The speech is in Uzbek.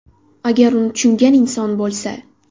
Agar uni tushungan inson bo‘lsa.